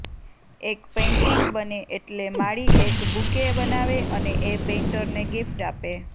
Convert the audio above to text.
એક પેઇન્ટિંગ બને એટલે માળી એક બુકે બનાવે અને એ પેઇન્ટરને ગિફ્ટ આપે